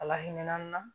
Ala hinɛ na